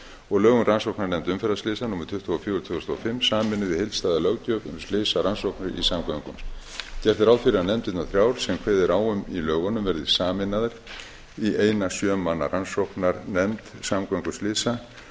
og lög um rannsóknarnefnd umferðarslysa númer tuttugu og fjögur tvö þúsund og fimm sameinuð í heildstæða löggjöf um slysarannsóknir í samgöngum gert er ráð fyrir að nefndirnar þrjár sem kveðið er á um í lögunum verði sameinaðar í eina sjö manna rannsóknarnefnd samgönguslysa